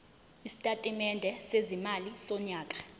isitatimende sezimali sonyaka